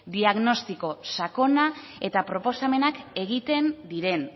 diagnostiko sakona eta proposamenak egiten diren